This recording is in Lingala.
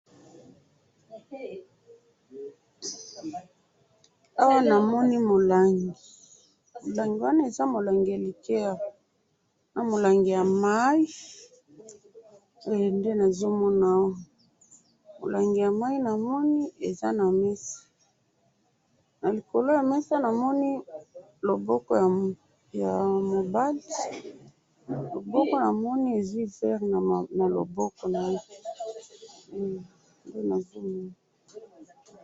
awa namoni moulangi, moulangi wana eza molangi ya liqueur ,na molangi ya mayi nde nazo mona oyo moulangi ya mayi namoni eza na mesa na likolo ya mesa, namoni loboko ya mobali, loboko namoni ezwi verre na loboko naye nde namoni wana